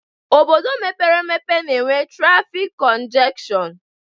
Obodo mepere emepe na enwe trafik kongeshon